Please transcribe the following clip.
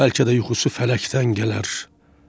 Bəlkə də yuxusu fələkdən gələr.